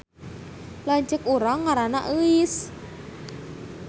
Lanceuk urang ngaranna Euis